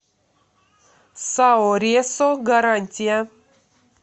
сао ресо гарантия